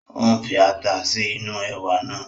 Ó ń fi ata sí inú ẹ̀wà náà